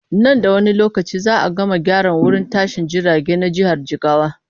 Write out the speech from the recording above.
Nan da wani lokaci za a gama gyara wurin tashin jirage na jihar jigawa.